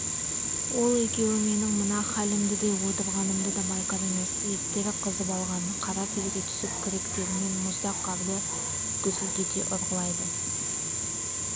ол екеуі менің мына хәлімді де отырғанымды да байқар емес еттері қызып алған қара терге түсіп күректерімен мұздақ қарды гүсілдете ұрғылайды